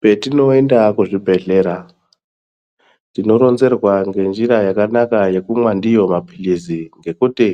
Petinoyenda kuzvibhedlera, tinoronzerwa ngenzira yakanaka yekungwa ndiyo maphilisi, ngekuti